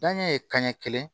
Danɲɛ ye kanɲɛ kelen